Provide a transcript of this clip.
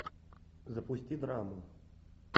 запусти драму